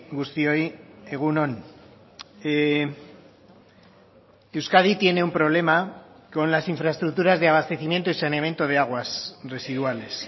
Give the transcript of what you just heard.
guztioi egun on euskadi tiene un problema con las infraestructuras de abastecimiento y saneamiento de aguas residuales